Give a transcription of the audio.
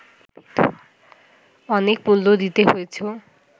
অনেক মূল্য দিতে হয়েছ